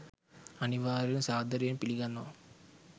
අනිවාර්යෙන් සාදරයෙන් පිලිගන්නවා